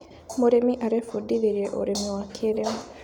Mũrĩmi arebundithirie ũrĩmi wa kĩrĩũ.